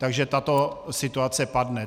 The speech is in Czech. Takže tato situace padne.